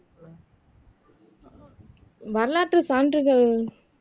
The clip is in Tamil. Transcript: வரலாற்று சான்றுகள்